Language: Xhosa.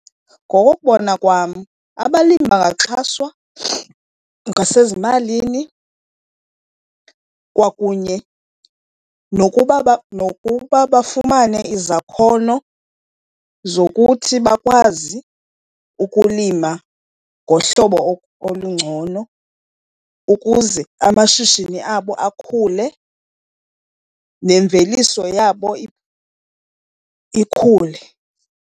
Ngokokubona kwam abalimi bangaxhaswa ngasezimalini kwakunye nokuba , nokuba bafumane izakhono zokuthi bakwazi ukulima ngohlobo olungcono ukuze amashishini abo akhule nemveliso yabo ikhule.